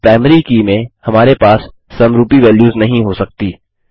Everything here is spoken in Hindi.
और प्राइमरी की में हमारे पास समरूपी वेल्युस नहीं हो सकती